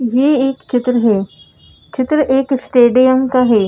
ये एक चित्र है चित्र एक स्टेडियम का है।